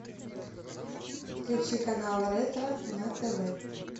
включи канал ретро на тв